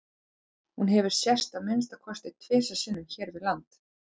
Hún hefur sést að minnsta kosti tvisvar sinnum hér við land.